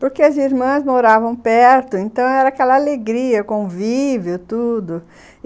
Porque as irmãs moravam perto, então era aquela alegria, convívio, tudo.